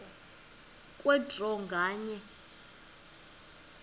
kwe draw nganye